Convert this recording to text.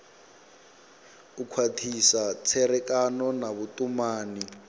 u khwathisa tserekano na vhutumani